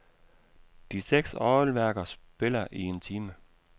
De seks orgelværker spiller i en time.